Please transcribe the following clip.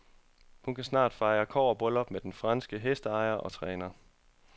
Hun kan snart fejre kobberbryllup med den franske hesteejer og træner.